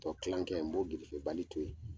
Ɔ kilan kɛ n b'o grefebali to yen.